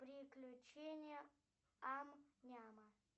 приключения ам няма